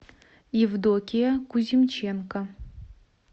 евдокия кузьмиченко